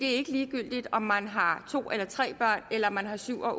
er ikke ligegyldigt om man har to eller tre børn eller om man har syv